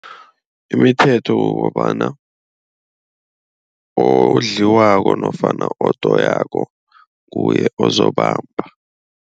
Imithetho kukobana odliwako nofana odoyako nguye ozokubamba.